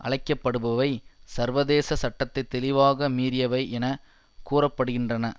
அழைக்கப்படுபவை சர்வதேச சட்டத்தை தெளிவாக மீறியவை என கூற படுகின்றன